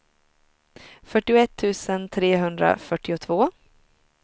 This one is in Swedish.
fyrtioett tusen trehundrafyrtiotvå